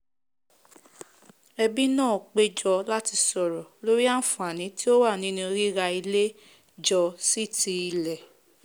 ẹbí náà péjọ láti sọ̀rọ̀ lórí àànfàní tí ó wà nínu ríra ilé jọ sí ti ilẹ̀